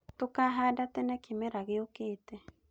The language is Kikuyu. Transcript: Tũkahanda tene kĩmera gĩũkĩte